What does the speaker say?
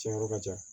Tiɲɛn yɔrɔ ka ca